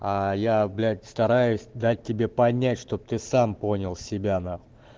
я блять стараюсь дать тебе понять чтоб ты сам понял себя нахуй